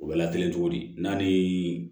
U bɛ lateli cogo di n'a ni